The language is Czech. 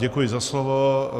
Děkuji za slovo.